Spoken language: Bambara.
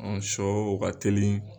sɔ o ka teli